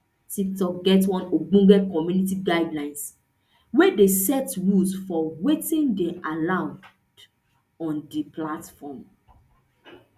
tiktok get one ogbonge community guidelines wey dey set rules for wetin dey allowed on di platform